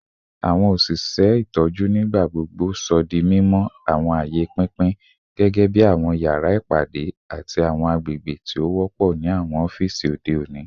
Awọn oṣiṣẹ itọju nigbagbogbo sọ di mimọ ati sọ di mimọ awọn aaye pinpin gẹgẹbi awọn yara ipade ati awọn agbegbe ti o wọpọ ni awọn ọfiisi ode oni